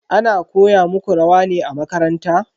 Ana koya muku rawa ne a makaranta?